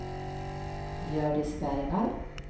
Hjördis Bergvall